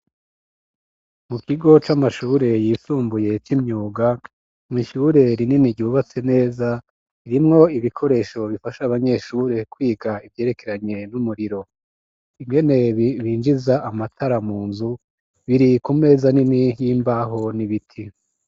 Mu kigo c'amashuure yisumbuye coimyuga mwishuureri nini ryubatse neza irimwo ibikoresho bifasha abanyeshure kwiga ivyerekeranye n'umuriro inge nebi binjiza amatara mu nzu biri kumeza nini y'imbaho n'ibiti.